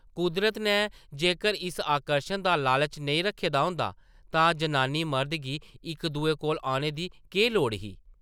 कुदरत नै जेकर इस आकर्शन दा लालच नेईं रक्खे दा होंदा तां जनानी मर्द गी इक दूए कोल औने दी केह् लोड़ ही ।